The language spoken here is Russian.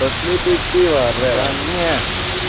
пошли пить пиво